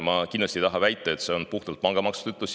Ma kindlasti ei taha väita, et see on nii puhtalt pangamaksu tõttu.